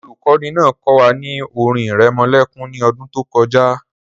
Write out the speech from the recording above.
The teacher taught us a luallaby last year